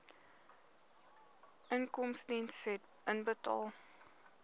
inkomstediens said inbetaal